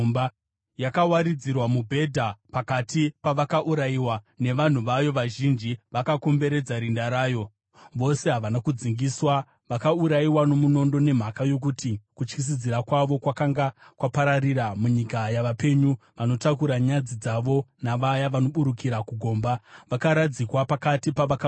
Yakawaridzirwa mubhedha pakati pavakaurayiwa, nevanhu vayo vazhinji vakakomberedza rinda rayo. Vose havana kudzingiswa, vakaurayiwa nomunondo. Nemhaka yokuti kutyisidzira kwavo kwakanga kwapararira munyika yavapenyu, vanotakura nyadzi dzavo navaya vanoburukira kugomba, vakaradzikwa pakati pavakaurayiwa.